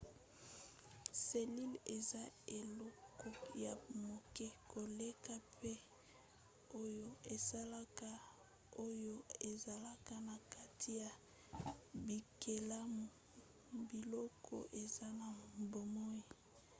selile eza eloko ya moke koleka mpe oyo esalaka oyo ezalaka na kati ya bikelamu biloko eza na bomoi